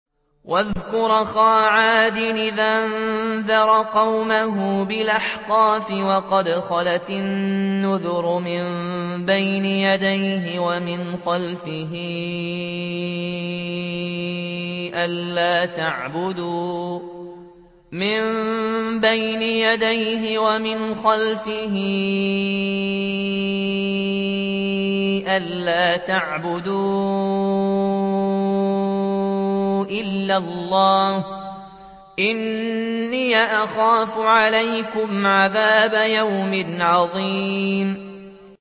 ۞ وَاذْكُرْ أَخَا عَادٍ إِذْ أَنذَرَ قَوْمَهُ بِالْأَحْقَافِ وَقَدْ خَلَتِ النُّذُرُ مِن بَيْنِ يَدَيْهِ وَمِنْ خَلْفِهِ أَلَّا تَعْبُدُوا إِلَّا اللَّهَ إِنِّي أَخَافُ عَلَيْكُمْ عَذَابَ يَوْمٍ عَظِيمٍ